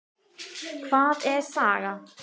Hvað er saga?